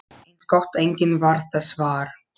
Eins gott að enginn varð þess var!